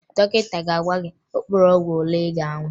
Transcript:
Dọkịta ga-agwa gị mkpụrụ ọgwụ ole ị ga-aṅụ